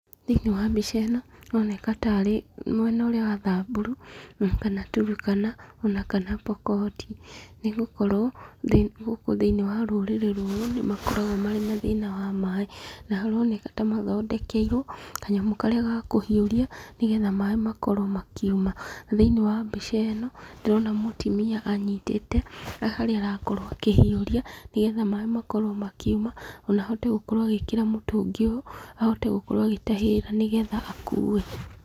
Thĩinĩ wa mbica ĩno ĩroneka tarĩ mwena ũrĩa wa Thamburu kana Turukana ona kana Pokoti, nĩgũkorwo thĩ gũkũ thĩini wa rũrĩrĩ rũrũ nĩmakoragwo marĩ na thĩna wa maĩ. Na haroneka ta mathondekeirwo kanyamũ karĩa ga kũhiũria nĩgetha maĩ makorwo makiuma. Thĩinĩ wa mbica ĩno ndirona mũtumia anyitĩte harĩa arakorwo akĩhiũria, nigetha maĩ makorwo makiuma ona ahote gũkorwo agĩkĩra mũtũngi ũyũ ahote gũkorwo agĩtahĩrĩra nĩgetha akuue